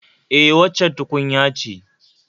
E, waccan tukunya ce